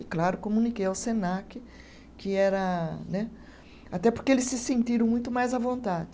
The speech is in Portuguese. E claro, comuniquei ao Senac que era né, até porque eles se sentiram muito mais à vontade.